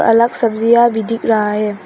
अलग सब्जियां भी दिख रहा है।